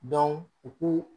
u k'u